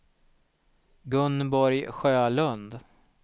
Gunborg Sjölund